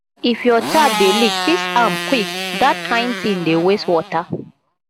if your tap dey leak fix am quick dat kain tin dey waste water